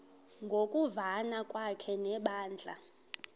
ngokuvana kwakhe nebandla